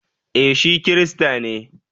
Eh shi Kirista ne